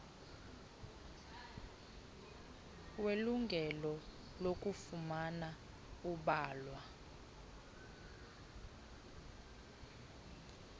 welungelo lokufumana ubalwa